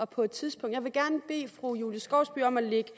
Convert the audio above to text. på et tidspunkt bede fru julie skovsby om at lægge